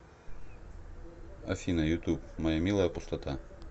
афина ютуб моя милая пустота